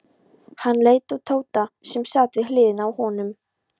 Hann leit á Tóta sem sat við hliðina á honum.